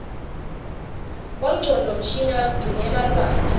bongcondvomshini basigcinela lwati